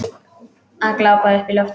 Að glápa upp í loftið.